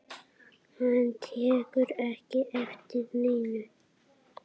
Hann tekur ekki eftir neinu.